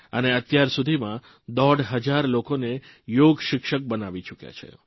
અને અત્યાર સુધીમાં દોઢ હજાર લોકોને યોગશિક્ષક બનાવી ચૂકયા છે